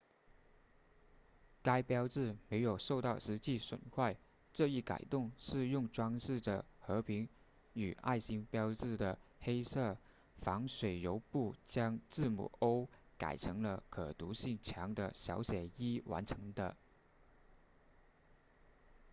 该标志没有受到实际损坏这一改动是用装饰着和平与爱心标志的黑色防水油布将字母 o 改成了可读性强的小写 e 完成的